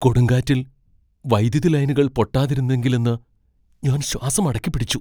കൊടുങ്കാറ്റിൽ വൈദ്യുതി ലൈനുകൾ പൊട്ടാതിരുന്നെങ്കിലെന്ന് ഞാൻ ശ്വാസം അടക്കിപ്പിടിച്ചു.